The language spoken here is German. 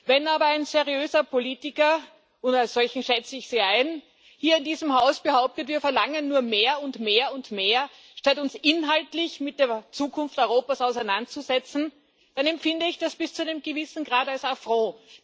Wenn aber ein seriöser Politiker und als solchen schätze ich Sie ein hier in diesem Haus behauptet, wir verlangen nur mehr und mehr und mehr statt uns inhaltlich mit der Zukunft Europas auseinanderzusetzen, dann empfinde ich das bis zu einem gewissen Grad als Affront.